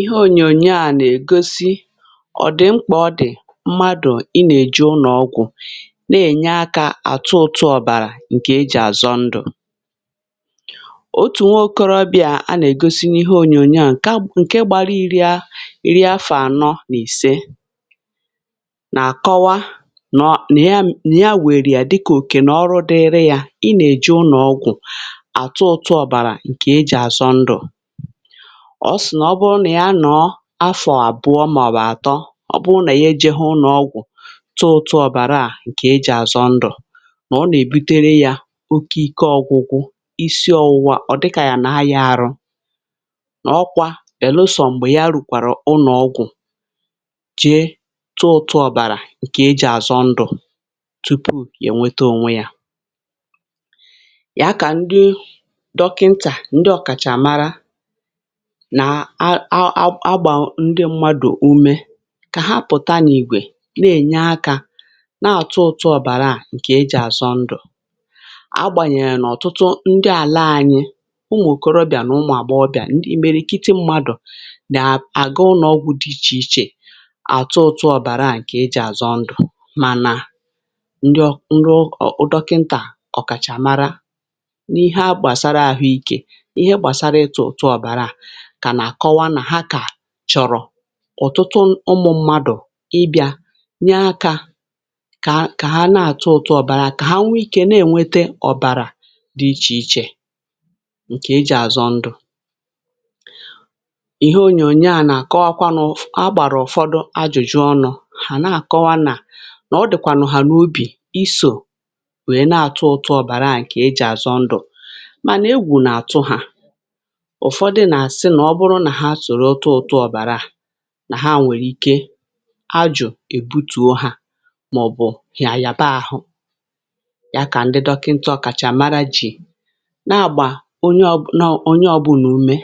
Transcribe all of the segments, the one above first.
Ihe ònyònyo à nà-ègosi ọ̀dị̀ mkpà ọ dị̀ mmadụ̀ ị nà-èjo ụnọgwụ̀ na-ènye akȧ àtụ ụtụ ọ̀bàrà ǹkè e jì àzọ ndụ̀. Otù nwaokorobịa a nà-ègosi n’ihe ònyònyo à ǹke gbara iri̇ a iri afọ̀ ànọ n’ìse nà àkọwa nà ya nà ya wère yà dịkà òkè nà ọrụ dịịri yȧ ị nà-èje ụnọ̀gwụ̀ àtụ ụtụ ọ̀bàrà ǹkè e jì àzọ ndụ̀ ọ sị̀ nà ọ bụrụ nà ya nọọ afọ̀ àbụọ màọbụ̀ àtọ ọ bụrụ nà ya ejigho ụnọ̀gwụ̀ tụ ụtụ ọbàrà à ǹkè i jì àzọ ndụ̀ nà ọ nà-èbutere yȧ oke ike ọgwụgwụ isi ọwụ̇wȧ ọ̀ dịkà yà nà ayȧ arụ nà ọ kwa bẹ̀lụsọ m̀gbè ya rùkwàrà ụnọ̀gwụ̀ jee tụ ụtụ ọbàrà ǹkè i jì àzọ ndụ̀ tupu è nweta onwe yȧ. Ya kà ndị dọkịntà ndị ọkàchàmara nà a a a gbà ndị mmadù ume kà ha pùta n'ìgwè nà-ènye akȧ na àtụ ụ̇tụ̇ ọ̀bàrà à ǹkè e jì àzọ ndụ̀. Agbànyèghe n'ọ̀tụtụ ndị àla aṅyị umù òkòròbìà nà umù àgbọbị̀à ndị imerikite mmadù nà àga ụnọ̀ ọgwụ̇ dị ichè ichè àtụ ụtụ ọ̀bàrà à ǹkè e jì àzọ ndụ̀ mànà ndị ọ ndị ọ dọkịntà ọ̀kàchàmara n’ihe a gbàsara àhụ ikė ihe gbasara ịtụ ụtụ ọbara a ka na-akọwa na ha chọ̀rọ̀ ọ̀tụtụ ụmụ̇ mmadụ̀ ị bị̀a nye akȧ kà kà ha na-àtụ ụtụ ọ̀bàrà kà ha nwee ikė na-ènwete ọ̀bàrà dị ichè ichè ǹkè e jì àzọ ndụ̇. Ihe onyònyè a nà-àkọwakwanụ a gbàrà ụ̀fọdụ ajụ̀jụ ọnụ̇ hà na-àkọwa nà nà ọ dị̀kwànụ̀hà n’obì isò wèe na-atụ ụtụ ọ̀bàrà à ǹkè e jì àzọ ndụ̀ mànà egwù nà-àtụ hà ụfọdụ na-asị nà ọ bụrụ nà ha soro tụtụ ọ̀bàrà à nà ha nwèrè ike ajụ èbutùo ha màọ̀bụ̀ hà yàba àhụ. Ya kà ndị dọkịnta ọ̀kàchàmara jì nà-àgbà onye ọbụlà nọ onye ọbụna umė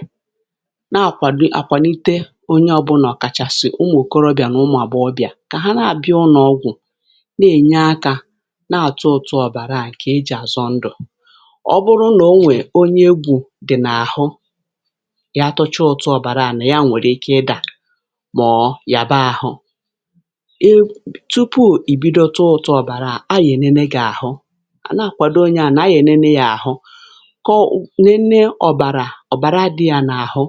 na-àkwàdo àkwànite onye ọbụnà ọ̀kàchàsị̀ ụmụ̀ òkorobịà nà ụmụ̀àgbọghọbịa kà ha na-àbịa ụnọgwụ̀ na-ènye akȧ na-àtụtụ ọ̀bàrà à ǹkè ejì àzọ ndụ̀ ọ bụrụ nà o nwèrè onye egwù dị n'àhụ ya tụchaa ụtụ ọbara ya nwere ike ịda mọ̀ọ̀ yàba ahụ̇ e tupu ì bido tụọ ụtụ ọ̀bàrà à a yà-ènene yà àhụ na-àkwado onye à nà a nènene yȧ àhụ kọ nenne ọ̀bàrà ọ̀bàra dị yȧ n’àhụ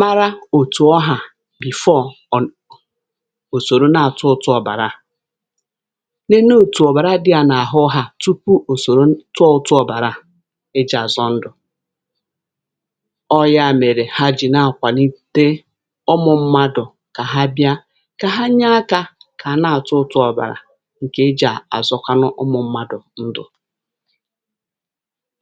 mara òtù ọhà before ọ̀ ò sòrò na-àtụ ụtụ ọ̀bàrà a nene òtù ọ̀bàra dị yȧ n’àhụ hà tupu ò sòrò tụọ ọ̀bàrà e jì àzọ ndụ̀. Ọ ya mere ha ji na-akwanite ụmụ mmadụ̀ kà ha bia kà ha nye akȧ kà àna àtụ ụtụ ọ̀bàrà ǹkè e jì àzọkwanụ ụmụ̇ mmadụ̀ ndụ̀.